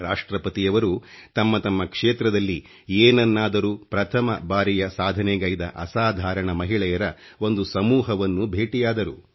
ರಾಷ್ಟ್ರ್ರಪತಿಯವರು ತಮ್ಮ ತಮ್ಮ ಕ್ಷೇತ್ರದಲ್ಲಿ ಏನನ್ನಾದರೂ ಪ್ರಥಮ ಬಾರಿಯ ಸಾಧನೆಗೈದ ಅಸಾಧಾರಣ ಮಹಿಳೆಯರ ಒಂದು ಸಮೂಹವನ್ನು ಭೇಟಿಯಾದರು